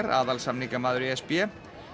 aðalsamningamaður e s b